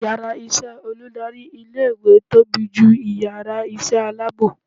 ìyára iṣẹ olùdarí ilé ìwé tobí jú ìyára iṣẹ alabọ